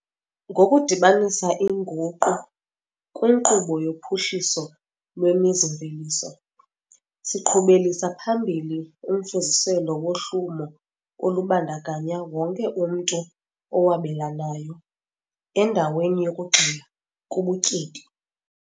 Ngokudibanisa inguqu kwinkqubo yophuhliso lwemizi-mveliso, siqhubelisa phambili umfuziselo wohlumo olubandakanya wonke umntu owabelanayo, endaweni yokugxila kubutyebi.